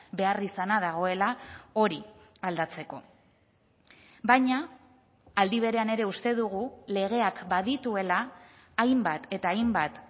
beharrizana dagoela hori aldatzeko baina aldi berean ere uste dugu legeak badituela hainbat eta hainbat